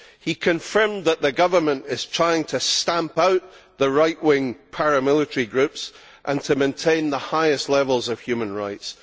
He confirmed that the government is trying to stamp out the right wing paramilitary groups and to maintain the highest levels of human rights.